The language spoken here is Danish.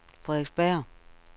Frederiksberg